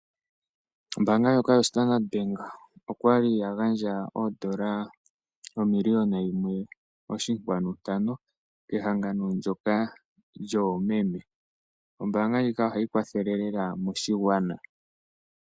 Ombanga ndjoka yoStandard Bank okwali ya gandja odola omillion yimwe oshinkwanu ntano kehagano ndjoka lyoomeme. Ombanga ndjika ohayi kwathele lela moshigwana.